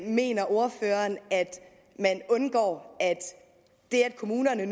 mener ordføreren man undgår det at kommunerne